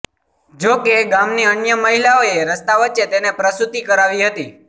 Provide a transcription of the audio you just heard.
જો કે ગામની અન્ય મહિલાઓએ રસ્તા વચ્ચે તેને પ્રસુતિ કરાવી હતી